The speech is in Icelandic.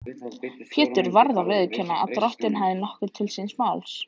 Pétur varð að viðurkenna að Drottinn hafði nokkuð til síns máls.